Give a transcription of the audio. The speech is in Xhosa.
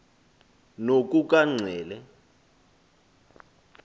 nokukanxele